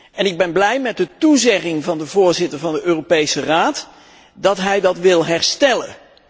En ik ben blij met de toezegging van de voorzitter van de Europese Raad dat hij dat wil herstellen.